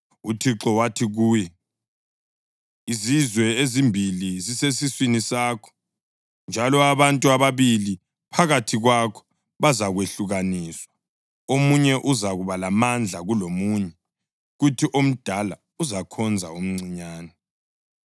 UThixo wathi kuye, “Izizwe ezimbili zisesiswini sakho, njalo abantu ababili phakathi kwakho bazakwehlukaniswa; omunye uzakuba lamandla kulomunye, kuthi omdala uzakhonza omncinyane.”